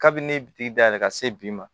Kabini ne ye dayɛlɛ ka se bi ma